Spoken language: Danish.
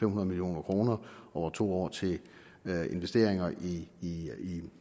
hundrede million kroner over to år til investeringer i i